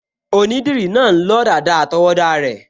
Onídìrí náà n lọ dàda àtọwọ́dá rẹ̀